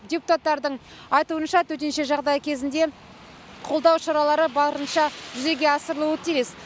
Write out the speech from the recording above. депутаттардың айтуынша төтенше жағдай кезінде қолдау шаралары барынша жүзеге асырылуы тиіс